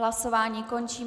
Hlasování končím.